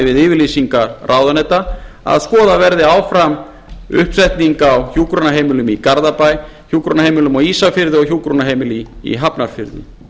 við yfirlýsingar ráðuneyta að skoðuð verði áfram uppsetning á hjúkrunarheimilum í garðabæ á ísafirði og í hafnarfirði